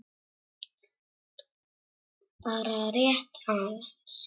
Bara rétt aðeins.